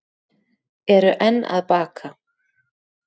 Eru enn að baka